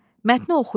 Mətni oxuyun.